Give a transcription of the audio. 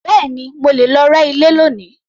Bẹ́ẹ̀ni, mo máa lọ rẹ́ ilé lónìí